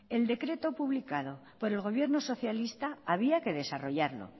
el decreto publicado por el gobierno socialista había que desarrollarlo